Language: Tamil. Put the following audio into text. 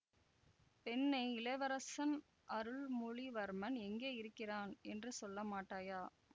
பெண்ணே இளவரசன் அருள்மொழிவர்மன் எங்கே இருக்கிறான் என்று சொல்லமாட்டாயா